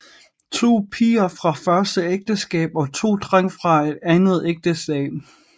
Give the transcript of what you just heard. To piger fra første ægteskab og to drenge fra andet ægteskab